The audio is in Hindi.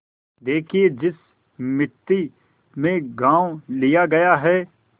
देखिए जिस मिती में गॉँव लिया गया है